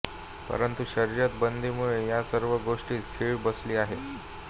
परंतु शर्यत बंदीमुळे या सर्व गोष्टीस खीळ बसली आहे